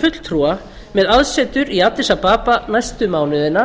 fulltrúa með aðsetur í addis ababa næstu mánuðina